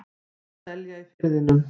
Og selja í Firðinum.